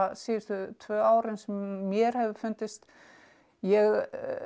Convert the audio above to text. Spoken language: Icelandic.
síðustu tvö árin sem mér hefur fundist ég